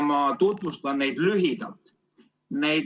Ma tutvustan neid lühidalt.